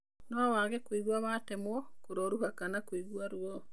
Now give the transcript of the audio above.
No wage kũigua watemwo, kĩroruha kana kũigua ruo.